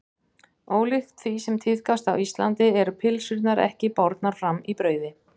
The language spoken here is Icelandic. Ólíkt því sem tíðkast á Íslandi eru pylsurnar ekki bornar fram í brauði.